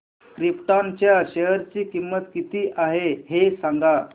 krypton च्या share ची किंमत किती आहे हे सांगा